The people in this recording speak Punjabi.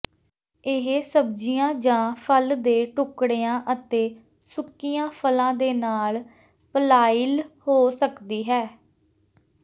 ਇਹ ਸਬਜ਼ੀਆਂ ਜਾਂ ਫਲ ਦੇ ਟੁਕੜਿਆਂ ਅਤੇ ਸੁੱਕੀਆਂ ਫਲਾਂ ਦੇ ਨਾਲ ਪਲਾਇਲ ਹੋ ਸਕਦੀ ਹੈ